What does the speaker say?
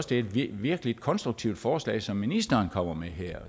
det er et virkelig konstruktivt forslag som ministeren kommer med her